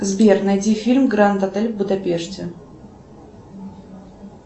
сбер найди фильм гранд отель в будапеште